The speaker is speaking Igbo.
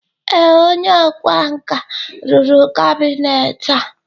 ee, onye ọkwá nkà rụrụ kabinet a